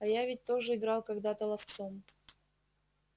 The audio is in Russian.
а я ведь тоже играл когда-то ловцом